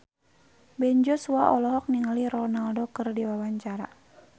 Ben Joshua olohok ningali Ronaldo keur diwawancara